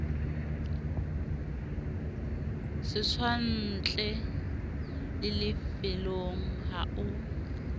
setswantle le lefellwang ha o